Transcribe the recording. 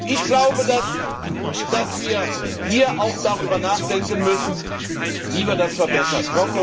Ich glaube, dass wir hier auch darüber nachdenken müssen, wie wir das verbessern.